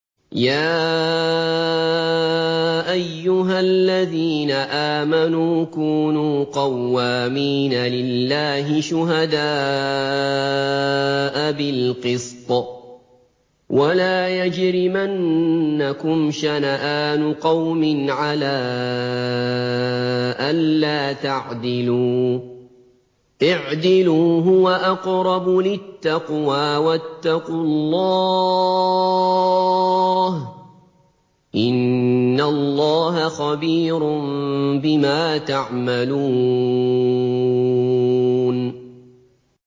يَا أَيُّهَا الَّذِينَ آمَنُوا كُونُوا قَوَّامِينَ لِلَّهِ شُهَدَاءَ بِالْقِسْطِ ۖ وَلَا يَجْرِمَنَّكُمْ شَنَآنُ قَوْمٍ عَلَىٰ أَلَّا تَعْدِلُوا ۚ اعْدِلُوا هُوَ أَقْرَبُ لِلتَّقْوَىٰ ۖ وَاتَّقُوا اللَّهَ ۚ إِنَّ اللَّهَ خَبِيرٌ بِمَا تَعْمَلُونَ